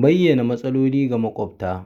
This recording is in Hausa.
Bayyana matsaloli ga maƙwabta